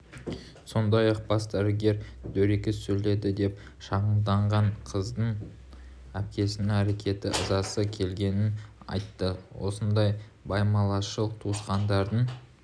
сондай-ақ бас дәрігер дөрекі сөйледі деп шағымданған қыздың әпкесінің әрекетіне ызасы келгенін айтты осындай байбаламшыл туысқандардың